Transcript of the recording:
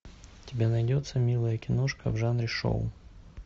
у тебя найдется милая киношка в жанре шоу